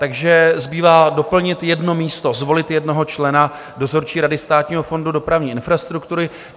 Takže zbývá doplnit jedno místo, zvolit jednoho člena dozorčí řady Státního fondu dopravní infrastruktury.